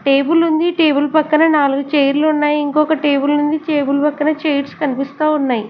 Table ఉంది table పక్కన నాలుగు చైర్లు ఉన్నాయి ఇంకొక టేబుల్ ఉంది టేబుల్ పక్కన చైర్స్ కనిపిస్తా ఉన్నాయి.